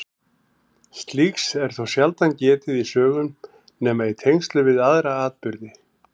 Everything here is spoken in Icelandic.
Slíks er þó sjaldan getið í sögum nema í tengslum við aðra atburði.